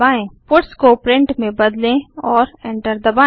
puts को print में बदले और एंटर दबाएँ